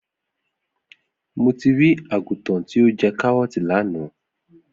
Mo ti ri àgùtàn ti o jẹ karọọti lana.